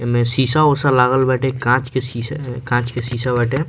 इमें शीशा-उसा लागल बाटे काँच के शीशा काँच के शीशा बाटे।